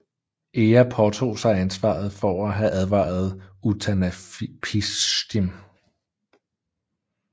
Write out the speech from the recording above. Ea påtog sig ansvaret for at have advaret Utanapishtim